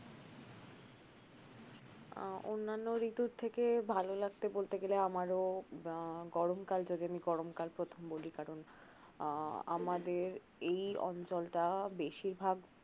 আহ অন্যান্য ঋতু থেকে ভাল লাগতে বলতে গেলে আমারও আহ গরমকাল যদি আমি গরমকাল প্রথম বলি কারন আহ আমাদের এই অঞ্চলটা বেশিরভাগ